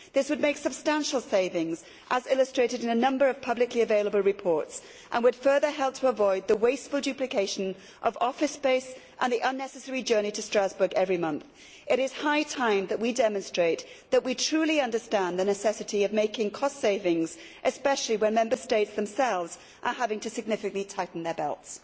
This would make substantial savings, as illustrated in a number of publically available reports, and would further help to avoid the wasteful duplication of office space and the unnecessary journey to Strasbourg every month. It is high time that we demonstrate that we truly understand the necessity of making cost savings, especially when Member States themselves are having to significantly tighten their belts.